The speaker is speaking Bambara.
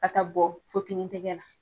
A ka bɔ Fopini tɛgɛ la.